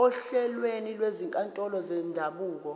ohlelweni lwezinkantolo zendabuko